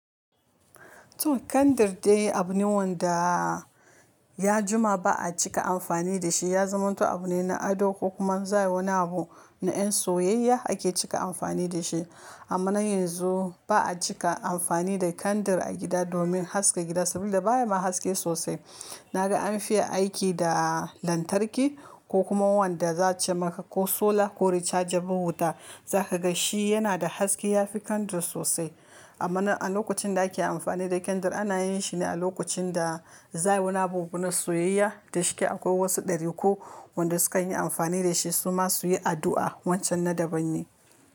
To kandir dai abu ne wanda ya jima ba a cika amfani da shi. Ya zama to abu ne na ado kuma zai wani abu na yan soyayya ake cika amfani da shi. Amma na yanzu ba a cika amfani da kandir a gida domin haska gida saboda baya ma haske sosai. Na ga an fi aiki da lantarki ko kuma wanda za a che maka ko solar ko rechargerble wuta. Za ka ga shi yana da haske ya fi kandir sosai. Amma na a lokacin da ake amfani da kandir ana yin shi ne a lokacin da za a yi wani abu na soyayya da shi. Akwai wasu ɗariku wanda sukan yi amfani da shi su ma su yi addu'a. Wancan na daban ne.